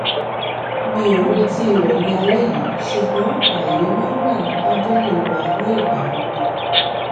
mi ò retí rẹ ní álẹ yìí ṣùgbọn ààyè máa ń wà ní tábìlì wa ní ìgbà gbogbo